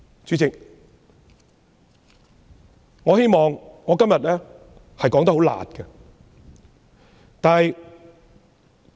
主席，我希望今天以較"辣"的言詞發言。